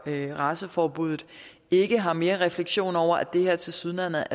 raceforbuddet ikke har mere refleksion over at det her tilsyneladende